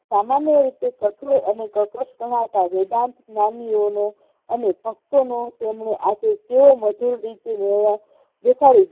સામાન્ય રીતે શત્રુ અને વેદાંત નામીઓને અને ભક્તોને તેમણે આજે કેવો મજુર રૂપી વ્યવહાર દેખાડ્યો.